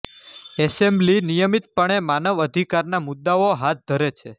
assembly નિયમિતપણે માનવ અધિકારના મુદ્દાઓ હાથ ધરે છે